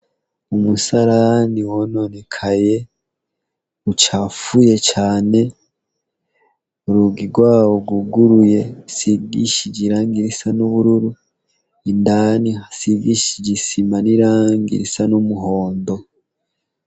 Umusalani wononekaye ucafuye cane uruga irwawo uguguruye sigishije iranga irisa n'ubururu indani hasigishije isima n'iranga irisa n'umuhondo.